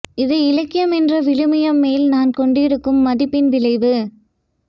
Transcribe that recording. இது இலக்கியம் என்ற விழுமியம் மேல் நான் கொண்டிருக்கும் மதிப்பின் விளைவு